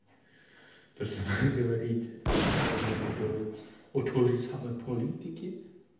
то есть говорить этого сама сейчас можно говорить о той же самой политике